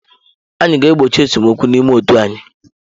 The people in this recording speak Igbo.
Anyị ga-egbochi esemokwu n'ime otu anyị.